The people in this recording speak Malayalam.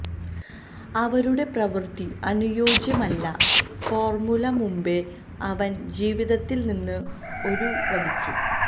അവരുടെ പ്രവൃത്തി അനുയോജ്യമല്ല ഫോർമുല മുമ്പെ അവൻ ജീവിതത്തിൽ നിന്ന് ഒരു വലിച്ചു